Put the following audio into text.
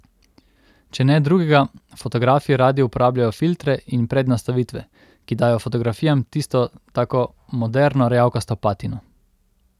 Če ne drugega, fotografi radi uporabljajo filtre in prednastavitve, ki dajo fotografijam tisto tako moderno rjavkasto patino.